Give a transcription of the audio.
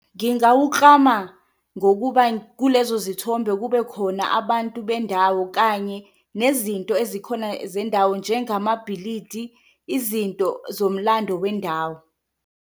Ngingawuklama ngokuba kulezo zithombe kube khona abantu bendawo kanye nezinto ezikhona zendawo njengamabhilidi, izinto zomlando wendawo.